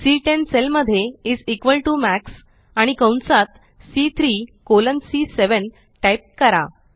C10 cell मध्ये is equal to max आणि कंसात सी3 कॉलन सी7 टाइप करा